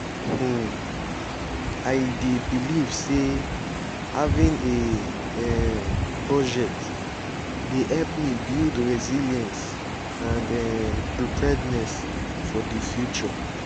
um i dey believe say having a um budget dey help me build resilience and um preparedness for di future.